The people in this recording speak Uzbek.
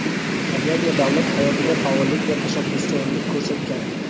jamiyat va davlat hayotida faollik va tashabbuskorlik ko‘rsatgan;.